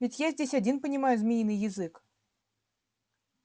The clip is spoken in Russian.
ведь я здесь один понимаю змеиный язык